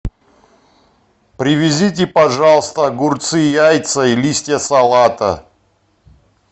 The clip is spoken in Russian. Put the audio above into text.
привезите пожалуйста огурцы яйца и листья салата